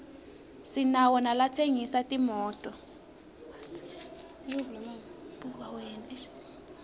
sinawo nalatsengisa timoto